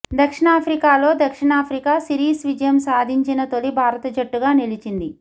దక్షిణాఫ్రికాలో దక్షిణాఫ్రికా సిరీస్ విజయం సాధించిన తొలి భారత జట్టుగా నిలిచింది